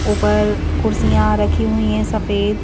ऊपर कुर्सियां रखी हुई हैं सफेद--